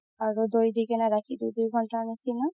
আৰু দৌ দি কিনে ৰাখি দিও দুই ঘন্তাৰ নিচিনা